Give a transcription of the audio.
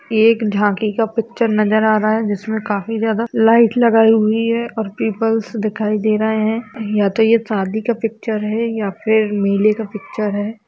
ये एक झांकी का पिक्चर नजर आ रहा हैं जिसमे काफी ज्यादा लाइट लगाई हुई हैं और पीपल्स दिखाई दे रहे हैं या तो ये शादी का पिक्चर हैं या फिर मेले का पिक्चर हैं।